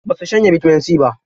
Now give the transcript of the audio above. Ba su shanye bitamin C ba.